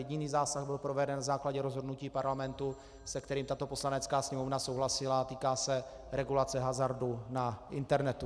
Jediný zásah byl proveden na základě rozhodnutí Parlamentu, se kterým tato Poslanecká sněmovna souhlasila, a týká se regulace hazardu na internetu.